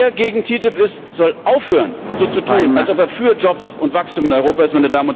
Wer gegen TTIP ist, soll aufhören, so zu tun, als ob er für Jobs und Wachstum in Europa ist.